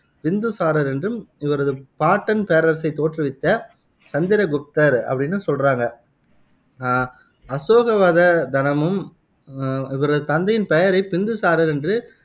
பிந்துசாரர் என்றும், இவரது பாட்டன் பேரரசைத் தோற்றுவித்த சந்திரகுப்தர் அப்படின்னும் சொல்றாங்க அஹ் அசோகவத தனமும் அஹ் இவரது தந்தையின் பெயரைப் பிந்துசாரர் என்று